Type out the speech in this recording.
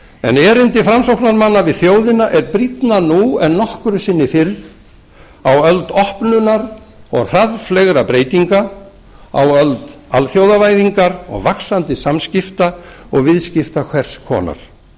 en erindi framsóknarmanna við þjóðina er brýnna nú en nokkru sinni fyrr á öld opnunar og hraðfleygra breytinga á öld alþjóðavæðingar og vaxandi samskipta og viðskipta hvers konar